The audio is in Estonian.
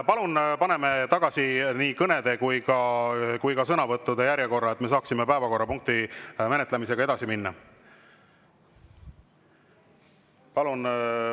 Palun paneme tagasi nii kõnede kui ka sõnavõttude järjekorra, et me saaksime päevakorrapunkti menetlemisega edasi minna.